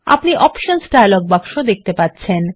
আপনি options dialogue বাক্স দেখতে পাচ্ছেন